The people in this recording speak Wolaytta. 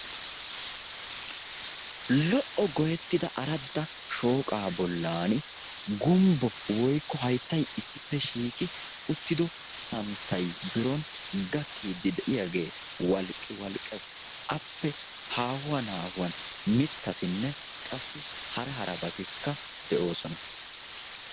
Lo''o goyettida aradda shooqaa bollani gumbbo woykko hayttay issippe shiiqi uttido santtay biron gakkiidi de'iyaage walqqiwalqqees. Appe haahuwan haahuwan mittatinne qassi hara harabatikka de'osona.